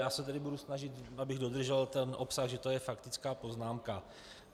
Já se tedy budu snažit, abych dodržel ten obsah, že to je faktická poznámka.